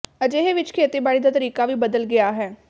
ਅਜਿਹੇ ਵਿਚ ਖੇਤੀਬਾੜੀ ਦਾ ਤਰੀਕਾ ਵੀ ਬਦਲ ਗਿਆ ਹੈ